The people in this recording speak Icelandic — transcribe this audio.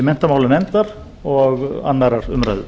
menntamálanefndar og annarrar umræðu